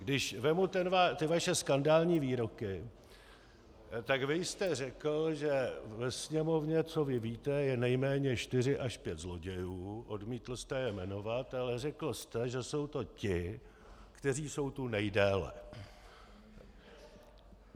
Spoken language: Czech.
Když vezmu ty vaše skandální výroky, tak vy jste řekl, že ve Sněmovně, co vy víte, je nejméně čtyři až pět zlodějů, odmítl jste je jmenovat, ale řekl jste, že jsou to ti, kteří jsou tu nejdéle.